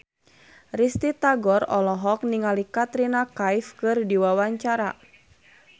Risty Tagor olohok ningali Katrina Kaif keur diwawancara